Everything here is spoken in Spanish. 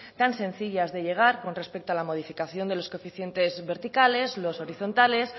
tan sencilla de llegar con respecto a la modificación de los coeficientes verticales los horizontales